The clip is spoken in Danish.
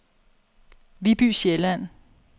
Viby Sjælland